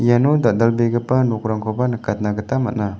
iano dal·dalbegipa nokrangkoba nikatna gita man·a.